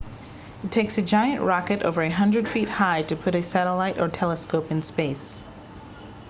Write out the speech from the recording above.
it takes a giant rocket over a 100 feet high to put a satellite or telescope in space